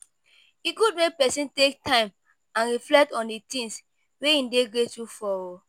E good make pesin take time and reflect on di things wey e dey grateful for.